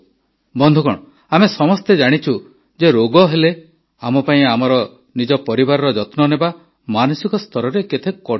ବନ୍ଧୁଗଣ ଆମେ ସମସ୍ତେ ଜାଣିଛୁ ଯେ ରୋଗ ହେଲେ ଆମ ପାଇଁ ଆମର ନିଜ ପରିବାରର ଯତ୍ନ ନେବା ମାନସିକ ସ୍ତରରେ କେତେ କଠିନ କାର୍ଯ୍ୟ